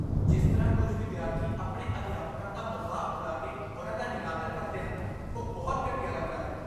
ਜਿਸ ਤਰ੍ਹਾਂ ਕੁਝ ਵਿਦਿਆਰਥੀ ਆਪਣੇ ਅਧਿਆਪਕਾਂ ਦਾ ਮਜ਼ਾਕ ਉਡਾ ਕੇ ਉਨ੍ਹਾਂ ਦਾ ਨਿਰਾਦਰ ਕਰਦੇ ਹਨ, ਉਹ ਬਹੁਤ ਘਟੀਆ ਲੱਗਦਾ ਹੈ।